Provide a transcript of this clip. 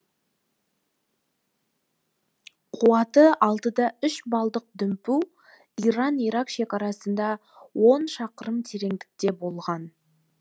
қуаты алты да үш балдық дүмпу иран ирак шекарасында он шақырым тереңдікте болған